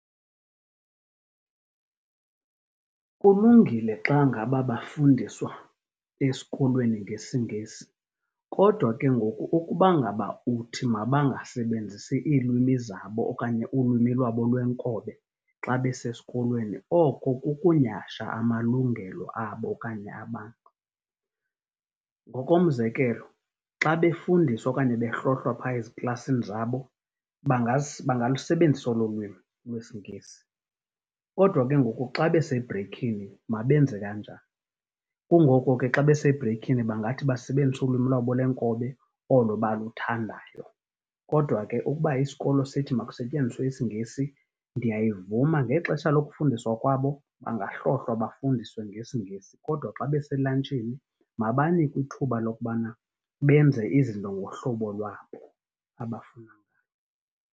Kulungile xa ngaba bafundiswa esikolweni ngesiNgesi, kodwa ke ngoku ukuba ngaba uthi mabangasebenzisi iilwimi zabo okanye ulwimi lwabo lwenkobe xa besesikolweni, oko kukunyhasha amalungelo abo okanye abantu. Ngokomzekelo, xa befundiswa okanye behlohlwa pha eziklasini zabo, bangalusebenzisa olo lwimi lwesiNgesi. Kodwa ke ngoku xa besebhreykhini mabenze kanjani? Kungoko ke xa besebhreykhini bangathi basebenzise ulwimi lwabo lwenkobe, olo baluthandayo. Kodwa ke ukuba isikolo sithi makusetyenziswe isiNgesi, ndiyayivuma. Ngexesha lokufundiswa kwabo, bangahlohlwa, bafundiswe ngesiNgesi, kodwa xa beselantshini mabanikwe ithuba lokubana benze izinto ngohlobo lwabo abafuna .